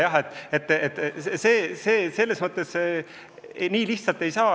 Aga see pole nii lihtne.